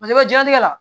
I bɛ jiyɛnlatigɛ la